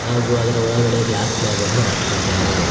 ಹಾಗು ಅದರ ಒಳಗಡೆ ಗ್ಲಾಸ್ ಸ್ಲಾಬನ್ನು ಹಾಕಿದ್ದಾರೆ.